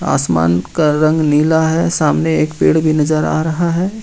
आसमान का रंग नीला है सामने एक पेड़ भी नजर आ रहा है।